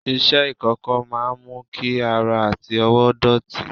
iṣẹ ikọkọ máà ń mú kí ara àti ọwó dọ̀tí